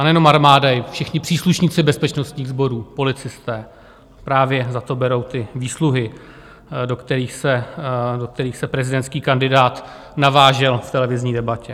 A nejen armáda, i všichni příslušníci bezpečnostních sborů, policisté, právě za to berou ty výsluhy, do kterých se prezidentský kandidát navážel v televizní debatě.